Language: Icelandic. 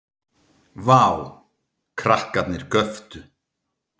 Ég hækka hann bara ef mér sýnist Dóri kepptist við að byggja.